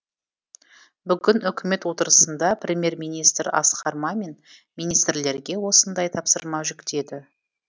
бүгін үкімет отырысында премьер министр асқар мамин министрлерге осындай тапсырма жүктеді